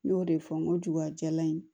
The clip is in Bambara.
Ne y'o de fɔ n ko jugajalan in